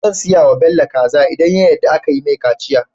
Zan siya wa Bello kaza idan ya yadda akayi mai kaciya